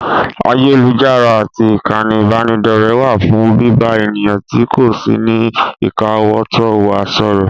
Ayélujára àti ìkànnì ìbánidọ́rẹ̀ẹ́ wà fún bíbá ènìyàn tí kò sí ní ìkáwótó wa sọ̀rọ̀.